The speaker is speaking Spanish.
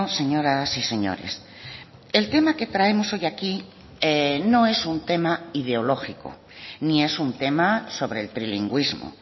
señoras y señores el tema que traemos hoy aquí no es un tema ideológico ni es un tema sobre el trilingüismo